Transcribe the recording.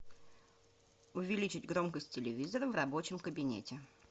увеличить громкость телевизора в рабочем кабинете